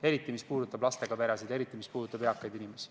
Eriti puudutab see lastega peresid ja eriti puudutab see eakaid inimesi.